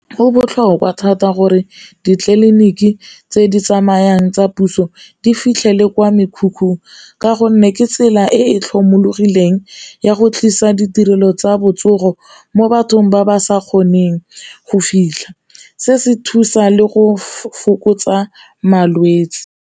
Go botlhokwa thata gore ditleliniki tse di tsamayang tsa puso di fitlhele kwa mekhukhung, ka gonne ke tsela e e tlhomologileng ya go tlisa ditirelo tsa botsogo mo bathong ba ba sa kgoneng go fitlha, se se thusa le go fokotsa malwetse.